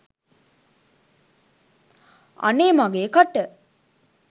අනේ මගෙ කට!